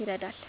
ይረዳል።